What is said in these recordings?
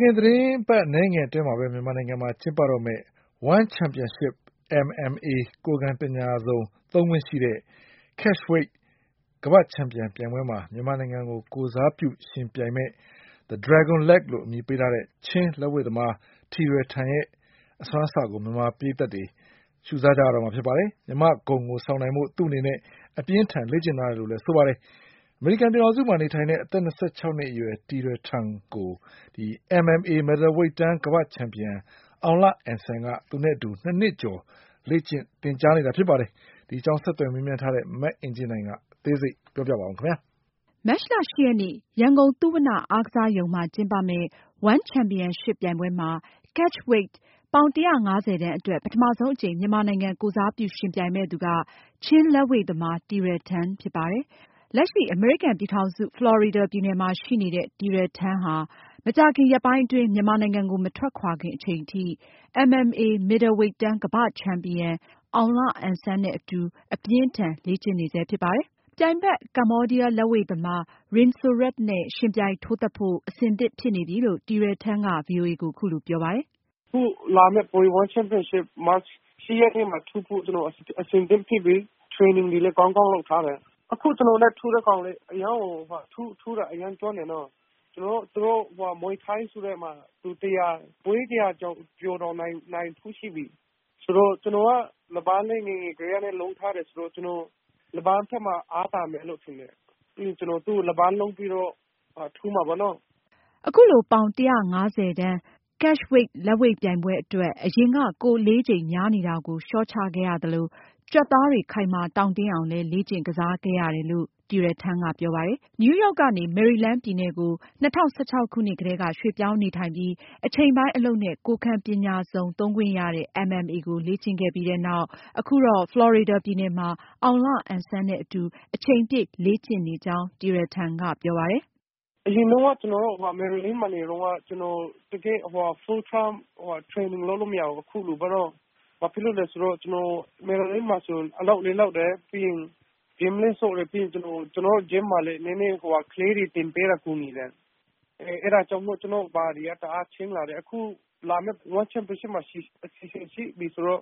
ခင် သတင်းပတ်အနည်းငယ်အတွင်း မြန်မာနိုင်ငံမှာ ကျင်းပတော့မယ့် One Championship– Catchweight ကမ္ဘာ့ချန်ပီယံပြိုင်ပွဲမှာ ပထမဆုံးအကြိမ် မြန်မာနိုင်ငံကိုယ်စားပြုယှဉ်ပြိုင်မယ့် The Dragon Leg လို့အမည်ပေးထားတဲ့ ချင်း နပန်းသမား တီရယ်ထန် ရဲ့ အစွမ်းအစကို မြန်မာပရိသတ်တွေ ရှူစားကြရတော့မှာပါ။ မြန်မာ့ဂုဏ်ကိုဆောင်နိုင်ဖို့ သူ့အနေနဲ့ အရမ်းကိုကြိုးစားလေ့ကျင့်ထားတယ်လို့ တီရယ်ထန်က ဗွီအိုအေကိုပြောပါတယ်။ အမေရိကန်ပြည်ထောင်စုမှာ နေထိုင်တဲ့ အသက် နှစ်အရွယ် တီရယ်ထန်ကို MMA မစ်ဒယ်ဝိတ်တန်း ကမ္ဘာ့ချန်ပီယံ အောင်လအန်ဆန်က သူနဲ့အတူ နှစ်နှစ်ကျော် လေ့ကျင့်သင်ကြားပေးထားတာဖြစ်ပါတယ်။ ဆက်သွယ်မေးမြန်းထားတဲ့ မအင်ကြင်းနိုင်က အသေးစိတ်ပြောပြမှာပါ။ မတ်လ ရက်နေ့ ရန်ကုန် သုဝဏ္ဍ အားကစားရုံမှာ ကျင်းပမယ့် One Championship ပြိုင်ပွဲမှာ Catchweight ပေါင် ၁၅၀ တန်းအတွက် ပထမဆုံးအကြိမ် မြန်မာနိုင်ငံကိုယ်စားပြုယှဉ်ပြိုင်မယ့်သူက ချင်း လက်ဝှေ့သမား တီရယ်ထန်ဖြစ်ပါတယ်။ လက်ရှိ အမေရိကန်ပြည်ထောင်စု ဖလော်ရီဒါပြည်နယ်မှာရှိနေတဲ့ တီရယ်ထန်ဟာ မကြာခင် ရက်ပိုင်းအတွင်း မြန်မာနိုင်ငံကို မထွက်ခွာခင် အချိန်ထိ MMA မစ်ဒယ်ဝိတ်တန်း ကမ္ဘာ့ချန်ပီယံ မြန်မာ့စပါးအုံး အောင်လအန်ဆန် နဲ့အတူ အပြင်းအထန် လေ့ကျင့်နေဆဲဖြစ်ပါတယ်။ ပြိုင်ဖက် ကမ္ဘောဒီးယားလက်ဝှေ့သမား Rin Sorth နဲ့ယှဉ်ပြိုင်ထိုးသတ်ဖို့ အဆင်သင့်ဖြစ်နေပြီလို့ တီရယ်ထန်က ဗွီအိုအေကို အခုလိုပြောပါတယ်။ “ အခုလာမယ့် One Championship မတ်လ ၁ ရက်နေ့မှာပြိုင်ဖို့ ကျနော်အဆင်သင့်ဖြစ်ပြီ။ training တွေလည်း ကောင်းကောင်းလုပ်ထားတယ်။ အခု ကျနော်နဲ့ ထိုးတဲ့ တယောက်လည်း ထိုးတာ အရမ်းကျွမ်းတယ်။ သူ ကျနော်တို့ မြွေထိုင်းဆိုတဲ့ဟာမှာ ၁၀၀ ကျော်တောင်နိုင်ဖူးတယ်။ ဆိုတော့ ကျနော်က နပန်းလည်း ငယ်ငယ်ကတည်းက လုပ်ထားတယ်ဆိုတော့ ကျနေ်ာက နပန်းးဘက်မှာ အားသာမယ်လို့ထင်တယ်။ ပြီးရင် ကျနော်သူ့ကို နပန်းလုံးပြီးတော့ ထိုးမှာပေါ့နော်။” အခုလို ပေါင် ၁၅၀ တန်း Catchweight လက်ဝှေ့ပြိုင်ပွဲအတွက် အရင်က ကိုယ်အလေးချိန် များနေတာကို လျော့ချခဲ့ရသလို ကြွက်သားတွေ ခိုင်မာတောင့်တင်းအောင်လည်း လေ့ကျင့် ကစားခဲ့ရတယ်လို့ တီရယ်ထန်ကပြောပါတယ်။ နယူးရောက်ကနေ မေရီလန်းပြည်နယ်ကို ၂၀၁၆ ခုနှစ်မှာ ရွှေ့ပြောင်းနေထိုင်ပြီး အချိန်ပိုင်း အလုပ်နဲ့ ကိုယ်ခံပညာစုံသုံးခွင့်ရတဲ့ MMA ကို စတင် လေ့ကျင့်ခဲ့ပြီးနောက် အခုတော့ ဖလော်ရီဒါပြည်နယ်မှာ အောင်လအန်ဆန်နဲ့အတူ အချိန်ပြည့် လေ့ကျင့်နေကြောင်း တီရယ်ထန်က ပြောပါတယ်။ “အရင်တုန်းက ကျနော်တို့ မယ်ရီလန်းမှာ နေတုန်းက ကျနော် full time training လုပ်လို့မရဘူး အခုလိုပေါ့နော် ဘာဖြစ်လို့လဲဆိုတော့ မယ်ရီလန်းမှာ အလုပ်လည်းလုပ်တယ် Gym လည်းဆော့တယ် ၊ နောက်ပြီး ကျနော်တို့ မှာက ကလေးတွေကို သင်ပေးတာ ကို ကူညီတယ်။ အဲဒါကြောင့် ကျနော့် body က တဖြေးဖြေး change လာတယ်။ လာမယ့် One Championship မှာ အစီအစဉ်ရှိပြီဆိုတော့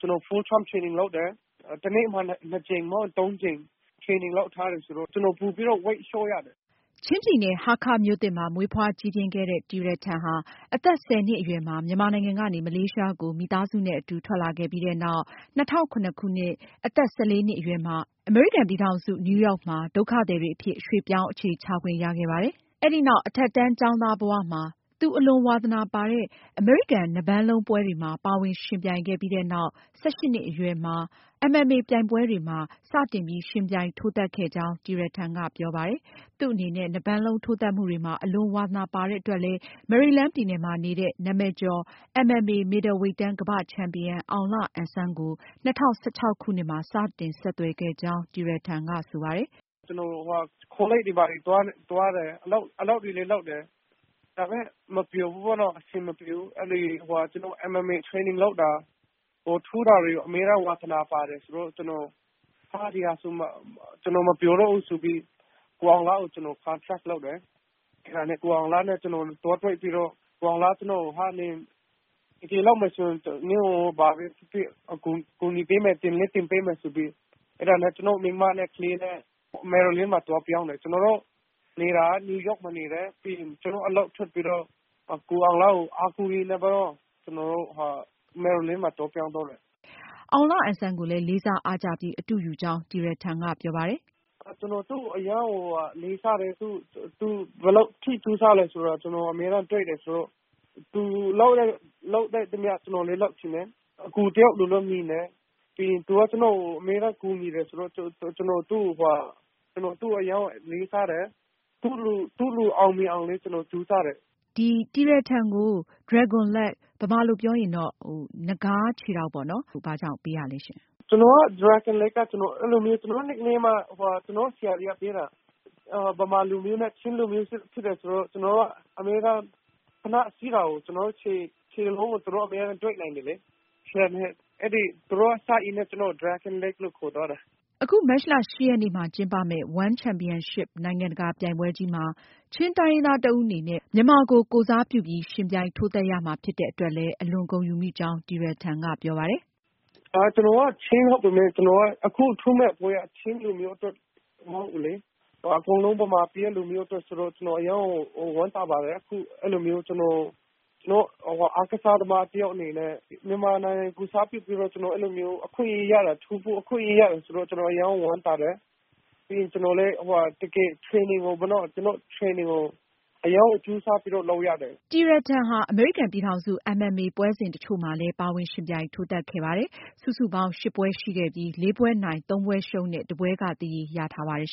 ကျနော် Full time training လုပ်တယ် ၊ တနေ့မှာ ၂ ကြိမ် မဟုတ်ရင် ၃ ကြိမ် training လုပ်တယ်ဆိုတော့ ကျနော်ပိုပြီးတော့ weight လျော့ရတယ်။” ချင်းပြည်နယ် ဟားခါးမြို့သစ်မှာ မွေးဖွားကြီးပြင်းခဲ့တဲ့ တီရယ်ထန်ဟာ အသက် ၁၀ နှစ်အရွယ်မှာ မြန်မာနိုင်ငံကနေ မလေးရှားကို မိသားစုနဲ့အတူ ထွက်လာခဲ့ပြီးနောက် ၂၀၀၇ခုနှစ် အသက် နှစ်အရွယ်မှာ အမေရိကန်ပြည်ထောင်စု နယူးရောက်မှာ ချင်းဒုက္ခသည်တွေအဖြစ် ရွှေ့ပြောင်း အခြေချခွင့်ရခဲ့ပါတယ်။ အဲဒီနောက် အထက်တန်းကျောင်းသားဘဝမှာ သူအလွန်ဝါသနာပါတဲ့ အမေရိကန် နပန်းလုံးပွဲတွဲမှာပါဝင်ယှဉ်ပြိုင်ခဲ့ပြီးနောက် ၁၈နှစ်အရွယ်မှာ MMA ပြိုင်ပွဲတွဲမှာ စတင်ထိုးသတ်ခွင့်ရခဲ့ကြောင်း တီရယ်ထန်ကပြောပါတယ်။ သူ့အနေနဲ့ နပန်းလုံးထိုးသတ်မှုတွေမှာ အလွန်ဝါသနာပါတဲ့အတွက်လည်း မေရီလန်းပြည်နယ်မှာနေတဲ့ နာမည်ကျော် MMA မစ်ဒယ်ဝိတ်တန်း ကမ္ဘာ့ချန်ပီယံ အောင်လအန်ဆန် ကို ၂၀၁၆ခုနှစ်မှာ စတင်ဆက်သွယ်ခဲ့ကြောင်း တီရယ်ထန်က ဆိုပါတယ်။ “ကျနော် ကောလိပ်တွေလည်းသွားတယ် အလုပ်တွေလည်းလုပ်တယ်၊ ဒါပေမယ့် အဆင်မပြေဘူးပေါ့နော်။ ဒါပေမယ့် MMA training လုပ်တာ ထိုးတာတွေ ဝါသနာပါတယ်။ ဆိုတော့ ဒီဟာဆိုရင် ကျနော်မပျော်တော့ဘူးဆိုပြီး ကိုအောင်လကို ကျနော် ဆက်သွယ်တယ်၊ ကိုအောင်လနဲ့ ကျနော် သွားတွေ့ပြီးတော့ ကိုအောင်လက နင်တကယ်လုပ်မယ်ဆိုရင် ကူညီပေးမယ်၊ သင်လည်းသင်ပေးမယ် ဆိုပြီး ကျနော့် အမျိုးသမီးနဲ့ ကလေးနဲ့ မေရီလန်းမှာ ပြောင်းတယ်။ ကျနော်တို့နေတာက New York မှာနေတယ်။ ပြီးရင် ကျနော်အလုပ်ထွက်ပြီးတော့ ကိုအောင်လကို အားကိုးပြီးတော့ ကျနော်တို့ မေရီလန်းမှာ ပြောင်းလာတယ်။ အဲဒါက ၂၀၁၆။” အောင်လအန်ဆန်ကိုလည်း လေးစားအားကြပြီး အတုယူကြောင်းလည်း တီရယ်ထန်ကပြောပါတယ်။ “ကျနော်သူ့ကို အရမ်းလေးစားတယ်၊ သူဘယ်လောက်အထိ ကြိုးစားတယ်ဆိုတာ ကျနော်အမြဲတမ်းတွက်တယ်ဆိုတော့ သူလုပ်သမျှ ကျနော်လည်း လုပ်ချင်တယ် ၊ သူ့ကို ကျနော်အကိုတယောက်လိုလည်း မြင်တယ်။ သူက ကျနော့်ကို အမြဲကူညီတယ်ဆိုတော့ ကျနော်သူ့ကို အရမ်းလေးစားတယ်။ သူလိုအောင်မြင်အောင်လည်း ကျနော်ကြိုးစားတယ်။ တနေ့ကျရင် ကျနော်အောင်မြင်မယ်လို့လည်း ယုံတယ်။ ဖြေ။ ။ ကျနော့်နာမည်က ကျနော့်ဆရာတွေက ပေးတာ၊ မြန်မာလူမျိုးနဲ့ ချင်းလူမျိုးဖြစ်တယ်ဆိုတော့ ကျနော်တို့ ဖိနပ်စီးတာကို ခြေထောက်ကို သူတို့အမြဲတမ်းတွေ့နေတယ်။ အဲဒါ စရင်းနဲ့ ကျနော့်ကို Dragon Leg လို့ခေါ်သွားတာ။ အခု မတ်လ ရက်နေ့ ရန်ကုန်မှာ ကျင်းပမယ့် One Championship နိုင်ငံတကာပြိုင်ပွဲကြီးမှာ ချင်းတိုင်းရင်းသားတဦးအနေနဲ့ မြန်မာကို ကိုယ်စားပြုပြီး ယှဉ်ပြိုင်ထိုးသတ် ရမှာဖြစ်တဲ့အတွက် အလွန်ဂုဏ်ယူကြောင်း တီရယ်ထန်က ပြောပါတယ်။ “ကျနော်က ချင်းဖြစ်ပေမယ့် အခုထိုးမယ့်ပွဲက ချင်းလူမျိုးအတွက်ပဲမဟုတ်ဘူးလေ အကုန်လုံးမြန်မာပြည်က အားလုံးအတွက်ဆိုတော့ ကျနော်အရမ်းကိုဝမ်းသာပါတယ်။ ကျနော်အားကစားသမား တယောက်အနေနဲ့ မြန်မာနိုင်ငံကိုယ်စားပြုပြီးတော့ အခွင့်အရေးရတာကို ကျနော်အရမ်းဝမ်းသာတယ်။ ကျနော်လည်း Training ကို အရမ်းကို ကြိုးစားပြီးလုပ်ထားရတယ်။” တီရယ်ထန်ဟာ အမေရိကန်ပြည်ထောင်စု MMA ပွဲစဉ်တချို့မှာလည်း ပါဝင်ယှဉ်ပြိုင် ထိုးသတ်ခဲ့ပါတယ်။ စုစုပေါင်း ရှစ်ပွဲရှိခဲ့ပြီး လေးပွဲနိုင်၊ သုံးပွဲရှုံးနဲ့ တပွဲက သရေရထားပါတယ်